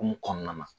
Hokumu kɔnɔna na